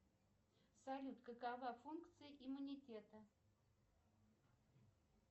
салют какова функция иммунитета